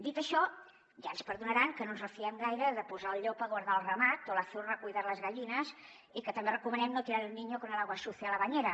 dit això ja ens perdonaran que no ens refiem gaire de posar el llop a guardar el ramat o la zorra a cuidar las gallinas i que també recomanem no tirar el niño con el agua sucia de la bañera